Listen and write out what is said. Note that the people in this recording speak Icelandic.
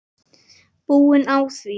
Búin á því.